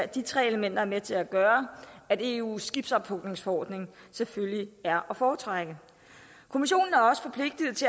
de tre elementer med til at gøre at eus skibsophugningsforordning selvfølgelig er at foretrække kommissionen